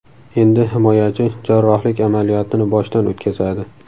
Endi himoyachi jarrohlik amaliyotini boshdan o‘tkazadi.